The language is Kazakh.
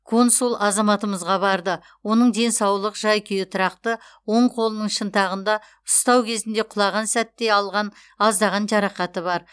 консул азаматымызға барды оның денсаулық жай күйі тұрақты оң қолының шынтағында ұстау кезінде құлаған сәтте алған аздаған жарақаты бар